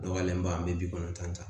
Dɔgɔyalen ba an bɛ bi kɔnɔntɔn ta